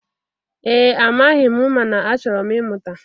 Ee, amaghị m mana achọrọ m ịmụta